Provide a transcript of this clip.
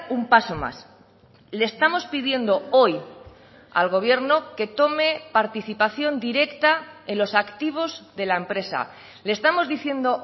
un paso más le estamos pidiendo hoy al gobierno que tome participación directa en los activos de la empresa le estamos diciendo